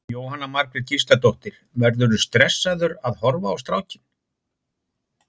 Jóhanna Margrét Gísladóttir: Verðurðu stressaður að horfa á strákinn?